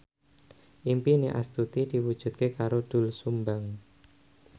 impine Astuti diwujudke karo Doel Sumbang